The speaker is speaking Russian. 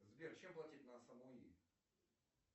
сбер чем платить на самуи